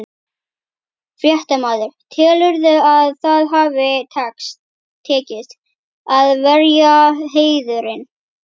Fréttamaður: Telurðu að það hafi tekist, að verja heiðurinn?